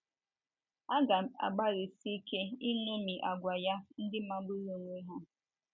Agam agbalịsi ike iṅomi àgwà ya ndị magburu onwe ha.